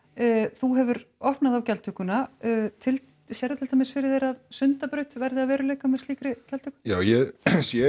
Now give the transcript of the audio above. þú hefur opnað á gjaldtökuna sérðu til dæmis fyrir þér að Sundabraut verði að veruleika með slíkri gjaldtöku já ég sé